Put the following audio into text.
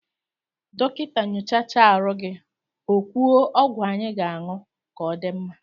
Dọkịta nyochacha arụ gị okwuo ọgwụ anyị ga-aṅụ ka ọ dị mma